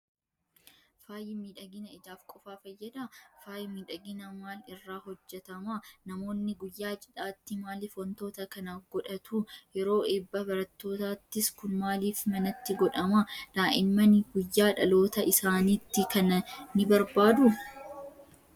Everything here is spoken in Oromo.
Faayi miidhagina ijaaf qofaa fayyadaa? Faayi miidhaginaa maal irraa hojjetama? Namoonni guyyaa cidhaatti maaliif wantoota kana godhatu? Yeroo eebba barattootaattis kun maaliif manatti godhama? Daa'imman guyyaa dhaloota isaaniitti kana ni barbaaduu?